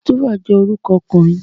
Christopher je oruko okunrin